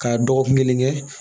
K'a dɔgɔkun kelen kɛ